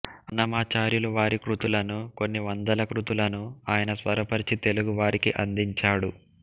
అన్నమాచార్యులు వారి కృతులను కొన్ని వందల కృతులను ఆయన స్వరపరచి తెలుగువారికి అందించాడు